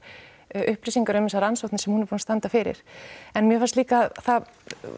upplýsingar um þessar rannsóknir sem hún er búin að standa fyrir en mér fannst líka það